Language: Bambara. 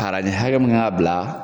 Kala den hakɛ mun y'a bila.